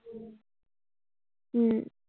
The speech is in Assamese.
উম